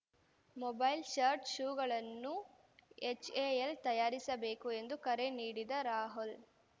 mobile shirt ಶೂಗಳನ್ನು HAL ತಯಾರಿಸಬೇಕು ಎಂದು ಕರೆ ನೀಡಿದ ರಾಹುಲ್‌